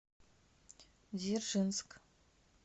дзержинск